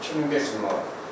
2500 manat.